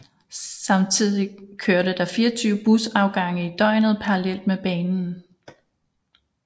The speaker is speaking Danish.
Samtidigt kørte der 24 busafgange i døgnet parallelt med banen